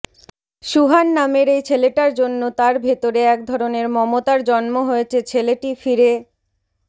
সুহান নামের এই ছেলেটার জন্য তার ভেতরে এক ধরনের মমতার জন্ম হয়েছে ছেলেটি ফিরে